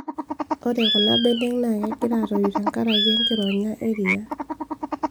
Ore kunabenek naa kegira aatoyu tekenkaraki enkironya eriaa